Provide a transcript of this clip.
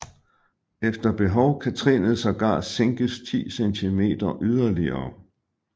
Efter behov kan trinet sågar sænkes 10 centimeter yderligere